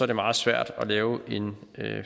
det meget svært at lave en